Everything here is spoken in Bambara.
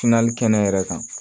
kɛnɛ yɛrɛ kan